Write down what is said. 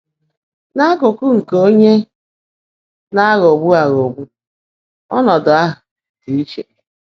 N’ákụ́kụ́ nkè óńyé ná-ághọ́ọ́gbu ághọ́ọ́gbu, ọ́nọ́dụ́ áhú́ ḍị́ íchè.